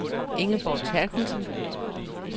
Ingeborg Therkildsen